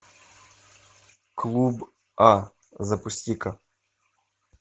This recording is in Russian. клуб а запусти ка